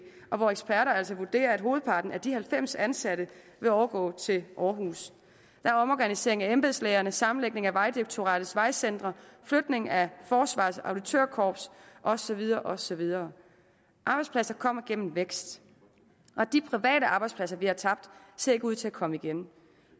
og hvor eksperter altså vurderer at hovedparten af de halvfems ansatte vil overgå til aarhus der er omorganisering af embedslægerne sammenlægning af vejdirektoratets vejcentre flytning af forsvarets auditørkorps og så videre og så videre arbejdspladser kommer gennem vækst og de private arbejdspladser vi har tabt ser ikke ud til at komme igen